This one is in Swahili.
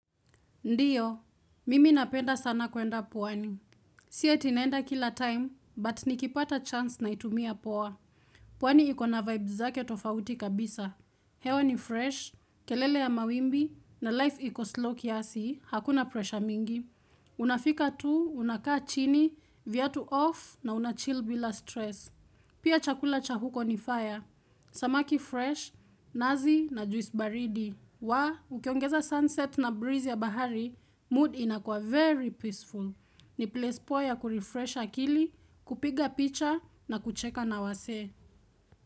Ndiyo, mimi napenda sana kwenda pwani. Si eti naenda kila time, but nikipata chance naitumia poa. Pwani ikona vibe zake tofauti kabisa. Hewa ni fresh, kelele ya mawimbi, na life iko slow kiasi, hakuna pressure mingi. Unafika tu, unakaa chini, viatu off, na unachill bila stress. Pia chakula cha huko ni fire. Samaki fresh, nazi, na juice baridi. Waah, ukiongeza sunset na breeze ya bahari, mood inakuwa very peaceful. Ni place poa ya kurifresh akili, kupiga picha na kucheka na wasee.